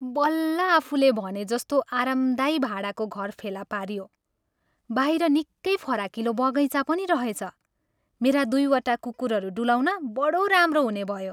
बल्ल आफुले भनेजस्तो आरामदायी भाडाको घर फेला पारियो। बाहिर निकै फराकिलो बगैँचा पनि रहेछ। मेरा दुईवटा कुकुरहरू डुलाउन बढो राम्रो हुने भयो।